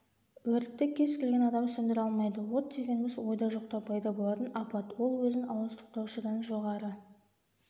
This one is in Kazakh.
өртті кез-келген адам сөндіре алмайды от дегеніміз ойда жоқта пайда болатын апат ол өзін ауыздықтаушыдан жоғары